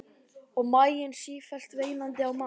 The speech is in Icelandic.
Og maginn sífellt veinandi á mat.